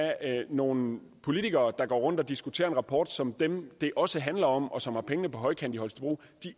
nogle politikere der går rundt og diskuterer en rapport som dem det også handler om og som har pengene på højkant i holstebro